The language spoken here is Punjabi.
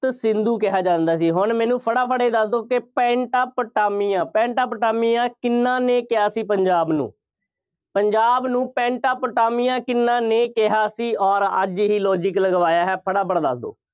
ਸ਼ਪਤਸਿੰਧੂ ਕਿਹਾ ਜਾਂਦਾ ਸੀ। ਹੁਣ ਮੈਨੂੰ ਫਟਾਫਟ ਇਹ ਦੱਸ ਦਿਓ ਕਿ ਪੈਂਟਾਪਟਾਮੀਆ, ਪੈਂਟਾਪਟਾਮੀਆ ਕਿੰਨ੍ਹਾ ਨੇ ਕਿਹਾ ਸੀ ਪੰਜਾਬ ਨੂੰ, ਪੰਜਾਬ ਨੂੰ ਪੈਂਟਾਪਟਾਮੀਆ ਕਿੰਨ੍ਹਾ ਨੇ ਕਿਹਾ ਸੀ ਅੋਰ ਅੱਜ ਹੀ logic ਲਗਵਾਇਆ ਹੈ। ਫਟਾਫਟ ਦੱਸ ਦਿਓ।